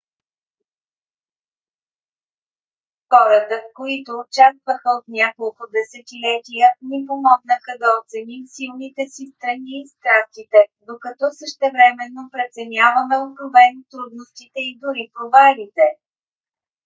хората които участваха от няколко десетилетия ни помогнаха да оценим силните си страни и страстите докато същевременно преценяваме откровено трудностите и дори провалите